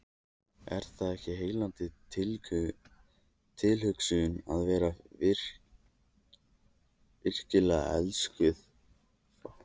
Er það ekki heillandi tilhugsun að vera virkilega elskuð?